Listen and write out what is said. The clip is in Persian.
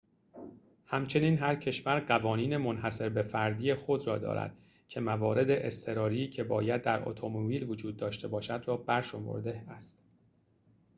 همچنین هر کشور قوانین منحصر به فردی خود را دارد که موارد اضطراری که باید در اتومبیل وجود داشته باشد را برشمرده است